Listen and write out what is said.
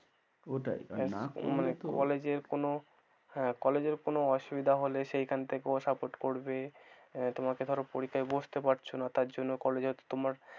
ওটাই না করলে তো, college এর কোন, হ্যাঁ college এর কোন অসুবিধা হলে সেখান থেকেও support করবে, তোমাকে ধরো পরীক্ষায় বসতে পারছো না তার জন্য college হয়তো তোমার,